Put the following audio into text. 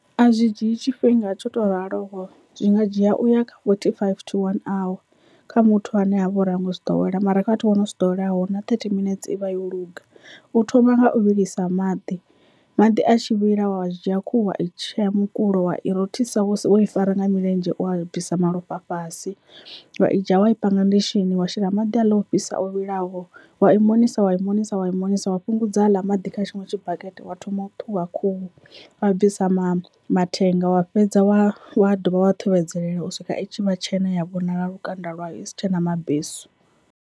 A zwi dzhie tshifhinga tsho to ralo zwi nga dzhia u ya forty five to one hour kha muthu ane avha uri hango zwi ḓowela mara kha vhathu vho no si ḓoweleaho na thirty minuts ivha yo luga. U thoma nga u vhilisa maḓi maḓi a tshi vhila wa dzhia khuhu wa i tshea mukulo wa i rothisa wo i fara nga milenzhe u a bvisa malofha a fhasi wa i dzhia wa panga ndi tshini wa shela maḓi a ḽa o fhisa o vhilaho wa i monisa wa i monisa wa i monisa, wa fhungudza aḽa maḓi kha tshiṅwe tshibakete wa thoma u ṱhuvha khuhu wa bvisa mathenga wa fhedza wa wa dovha wa ṱhuvhedzelela u swika u tshi vha tshena ya vhonala lukanda lwayo isi tshena mabesu.